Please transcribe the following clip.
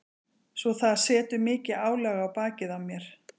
Svo það setur mikið álag á bakið á mér.